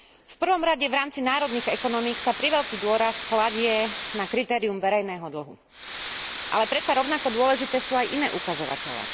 V prvom rade v rámci národných ekonomík sa priveľký dôraz kladie na kritérium verejného dlhu, ale predsa rovnako dôležité sú aj iné ukazovatele.